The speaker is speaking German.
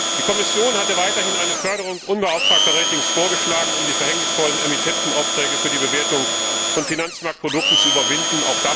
Die Kommission hatte ferner eine Förderung unbeauftragter Ratings vorgeschlagen, um die verhängnisvollen Emittentenaufträge für die Bewertung von Finanzmarktprodukten zu überwinden